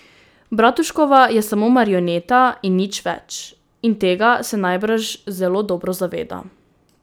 Bratuškova je samo marioneta in nič več, in tega se najbrž zelo dobro zaveda.